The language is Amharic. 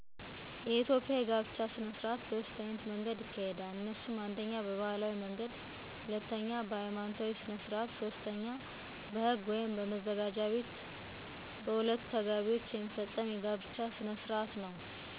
የኢትዮጵያ የጋብቻ ሥነ ሥርዓት በሦስት ዓይነት መንገድ ይካሄዳል። እነሱም፦ አንደኛ በባህላዊ መንገድ በሁለቱ ተጋቢዎች ና በሦስት ሽማግሌዎች የሚፈፀም የጋብቻ ሥነሥርዓት ነው። ሁለተኛው በሐይማኖታዊ ሥነሥርዓት የሚፈፀም ነው። ሦስተኛው በህግ ወይም በመዘጋጃ ቤት ሁለቱ ተጋቢዎች የሚፈፀም የጋብቻ ሥነሥርዓት ነው።